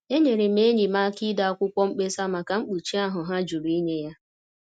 Enyere m enyi m aka ide akwụkwọ mkpesa maka mkpuchi ahụ ha jụrụ inye ya.